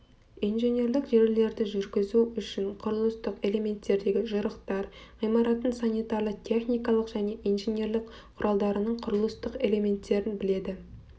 инженерлік желілерді жүргізу үшін құрылыстық элементтердегі жырықтар ғимараттың санитарлы техникалық және инженерлік құралдарының құрылыстық элементтерін біледі